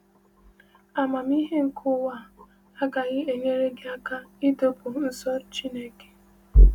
Amamihe nke ụwa agaghị enyere gị aka ịdọpụ nso Chineke.